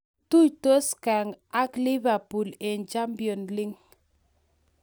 Tuitos Genk ak Liverpool eng Champions League